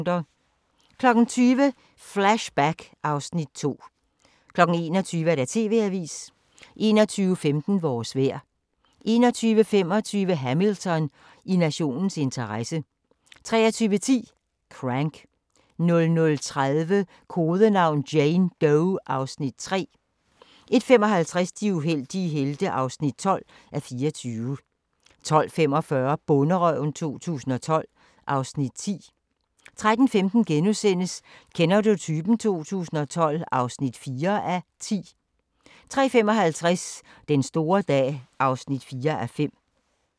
20:00: Flashback (Afs. 2) 21:00: TV-avisen 21:15: Vores vejr 21:25: Hamilton: I nationens interesse 23:10: Crank 00:30: Kodenavn: Jane Doe (Afs. 3) 01:55: De uheldige helte (12:24) 02:45: Bonderøven 2012 (Afs. 10) 03:15: Kender du typen? 2012 (4:10)* 03:55: Den store dag (4:5)